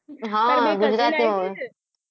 હ ગુજરાતી મારી બે cousin આવીને